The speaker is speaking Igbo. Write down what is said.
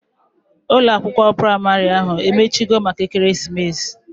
Ụlọ akwụkwọ praịmarị ahu emechio maka ekeremesis?